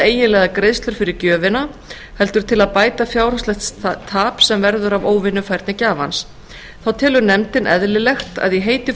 eiginlegar greiðslur fyrir gjöfina heldur til að bæta fjárhagslegt tap sem verður af óvinnufærni gjafans þá telur nefndin eðlilegt að í heiti